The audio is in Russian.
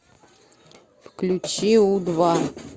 включи у два